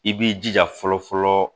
I b'i jija fɔlɔ fɔlɔ